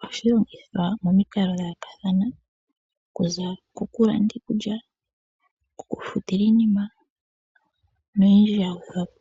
Ohashi longithwa momikalo dha yoolokathana okuza ko kulanda iikulya, ko kufutila iinima noyondji ya gwedhwa po.